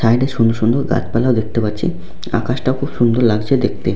Side -এ সুন্দর সুন্দর গাছপালাও দেখতে পাচ্ছি আকাশটা খুব সুন্দর লাগছে দেখতে।